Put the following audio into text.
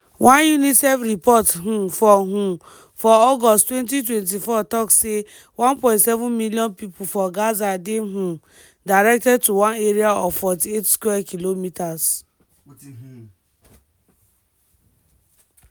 one unicef report um for um for august 2024 tok say 1.7 million pipo for gaza dey um directed to one area of 48 square kilometres.